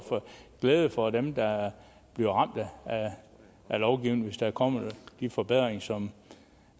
glæde for dem der bliver ramt af lovgivningen hvis der kommer de forbedringer som